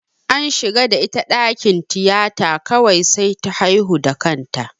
An shiga da ita dakin tiyata kawai sai ta haihu da kanta.